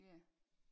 Ja